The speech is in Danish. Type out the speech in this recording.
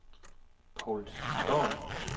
Paul Storm